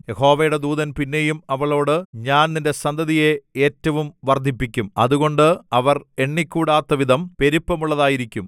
യഹോവയുടെ ദൂതൻ പിന്നെയും അവളോട് ഞാൻ നിന്റെ സന്തതിയെ ഏറ്റവും വർദ്ധിപ്പിക്കും അതുകൊണ്ട് അവർ എണ്ണിക്കൂടാത്തവിധം പെരുപ്പമുള്ളതായിരിക്കും